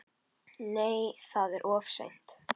Nei, það er of seint.